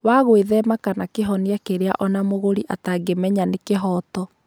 wa gwĩthema kana kĩhonia kĩrĩa o na mũgũri atangĩmenya atĩ nĩ kĩhooto.